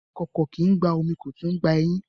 Ìkòkò kìí gba omi kó tún gba ẹyìn